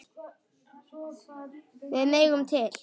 Við megum til.